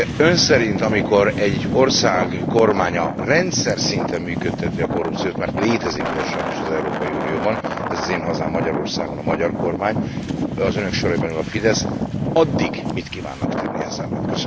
Ön szerint, amikor egy ország kormánya rendszer szinten működteti a korrupciót, mert létezik ilyen sajnos az Európai Unióban, ez az én hazám Magyarországon, a magyar kormány, az önök soraiban ül a Fidesz, addig mit kívánnak tenni ez ellen?